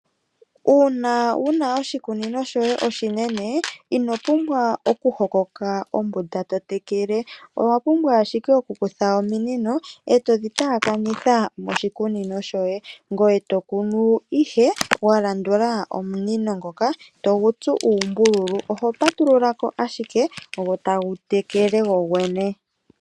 Uuna wuna oshikunino shoye oshinene ino pumbwa oku hokoka ombuda totekele, owa pumbwa ashike oku kutha ominino etodhi taakanitha moshikunino shoye, ngoye tokunu ihe wa landula omunino ngoka, togu tsu uumbululu oho patululako ashike go tagu tekele gogwene.